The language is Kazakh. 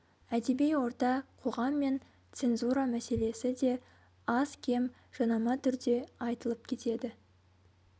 әдеби орта қоғам мен цензура мәселесі де аз-кем жанама түрде айтылып кетеді